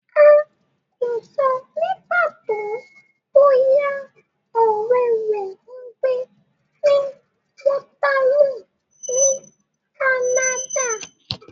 A kò sọ ní pàtó bóyá ọ̀rẹ́ rẹ ń gbé ní Waterloo ní Canada.